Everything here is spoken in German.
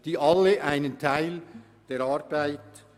Alle leisten einen Teil der Arbeit.